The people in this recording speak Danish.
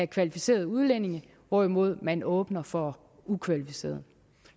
kvalificerede udlændinge hvorimod man åbner for ukvalificerede